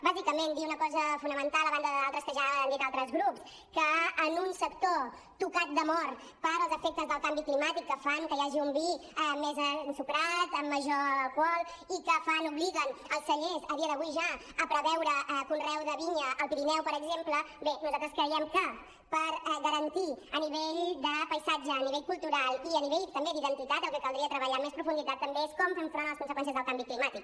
bàsicament dir una cosa fonamental a banda d’altres que ja han dit altres grups que en un sector tocat de mort pels efectes del canvi climàtic que fan que hi hagi un vi més ensucrat amb major alcohol i que obliguen els cellers a dia d’avui ja a preveure conreu de vinya al pirineu per exemple bé nosaltres creiem que per garantir a nivell de paisatge a nivell cultural i a nivell també d’identitat el que caldria treballar amb més profunditat també és com afrontem les conseqüències del canvi climàtic